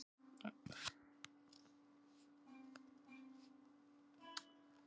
Hvað orsakar offitu barna?